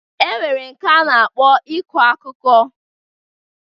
E nwere nke a na-akpọ iku akuko.